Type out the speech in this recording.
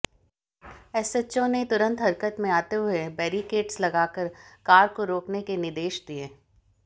SHO ने तुंरत हरकत में आते हुए बेरीकेड्स लगाकार कार को राकेन के निदेश दिए